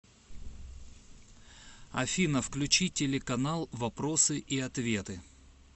афина включи телеканал вопросы и ответы